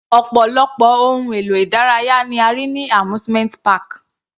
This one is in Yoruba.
Ọ̀pọ̀lọpọ̀ ohun èlò ìdárayá ni a rí ní amusement park.